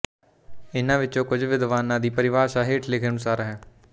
ਇਨ੍ਹਾਂ ਵਿਚੋਂ ਕੁਝ ਵਿਦਵਾਨਾਂ ਦੀ ਪਰਿਭਾਸ਼ਾ ਹੇਠ ਲਿਖੇ ਅਨੁਸਾਰ ਹੈ